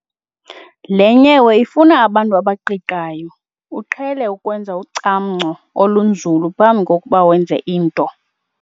Le nyewe ifuna abantu abaqiqayo. uqhele ukwenza ucamngco olunzulu phambi kokuba wenze into